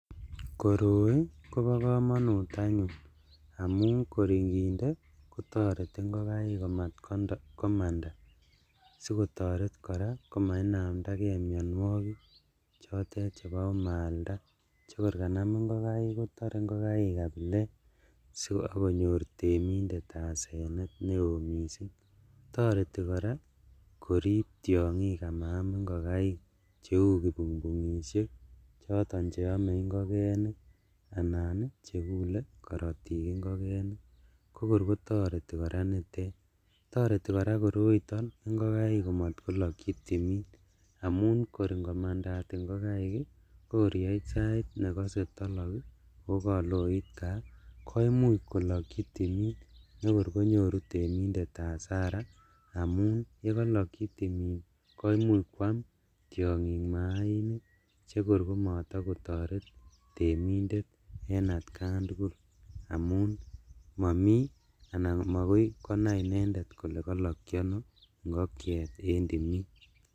Koroi kobo komonut anyun amun kor inginde kotoreti ingokaik komat komanda, sikotoret koraa komainamdakee mionuokik chotet chebo omalda chekor kanam ingokaik, kotore ingokaik kabilet so ok konyor temindet asenet neo missing', toreti koraa korib tiongik amaam ingokaik cheu kipungpungishek, choton cheome ingokenik anan chekule korotik ingokenik kokor kotoreti koraa nitet, torti koraa koroi ingokaik komotlolokchi timin amun kor ingomandat ingokaik ii kokor yeit sait nemoche tolok ii oo koloit kaa koimuch kolokchi timin nekor konyoru temindet hasara amun yekolokchi timin koimuch kwaam tiongik maainik chekor komotokotoret temindet en atkan tugul amun momi anan mokai konai inendet kole kolokchi ono ingokiet en timin.